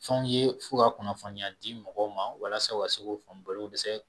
Fɛnw ye fo ka kunnafoniya di mɔgɔw ma, walasa u ka se ko faamu balo ko dɛsɛ